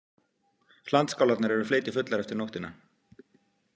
Hlandskálarnar eru fleytifullar eftir nóttina.